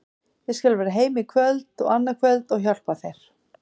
Ég skal vera heima í kvöld og annað kvöld og hjálpa þér.